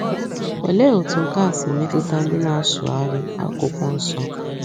Olee otú nke a si metụta ndị na - asụgharị akwụkwọ nso?